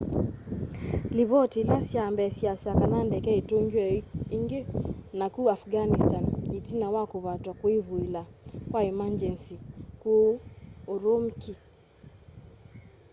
livoti ila sya mbee syiasya kana ndeke itungiwe ingi naku afghanistani itina wa kuvatwa kwivuila kwa emangyenzi kuu urumqi